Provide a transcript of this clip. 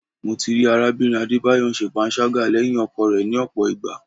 Mo ti rí arábìnrin Adébáyọ̀ ń ṣe panṣágà lẹ́yìn ọkọ rẹ̀ ni ọ̀pọ̀ ìgbà.